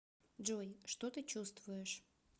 джой что ты чувствуешь